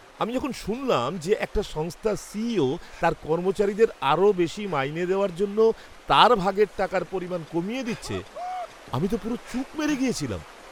আমি যখন শুনলাম যে একটা সংস্থার সিইও তার কর্মচারীদের আরও বেশি মাইনে দেওয়ার জন্য তার ভাগের টাকার পরিমাণ কমিয়ে দিচ্ছে, আমি তো পুরো চুপ মেরে গিয়েছিলাম।